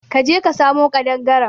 ka je ka samo kadangaren.